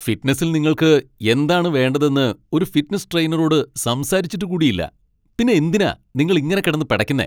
ഫിറ്റ്നസിൽ നിങ്ങൾക്ക് എന്താണ് വേണ്ടതെന്ന് ഒരു ഫിറ്റ്നസ് ട്രെയിനറോട് സംസാരിച്ചിട്ടു കൂടി ഇല്ല ,പിന്നെ എന്തിനാ നിങ്ങൾ ഇങ്ങനെ കിടന്ന് പെടയ്ക്കുന്നെ ?